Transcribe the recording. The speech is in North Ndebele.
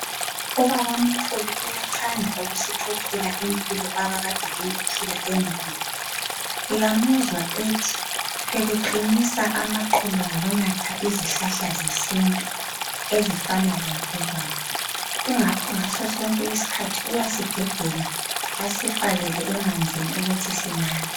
Ubabamkhulu uyathanda ukusixoxela impilo abakade beyiphila endulo . Uyamuzwa ethi bebeqinisa amaqolo ngokunatha izihlahla zesintu ezifana lentolwane. Ingakho ngaso sonke isikhathi uyasigebhela asifakele emanzini sinathe.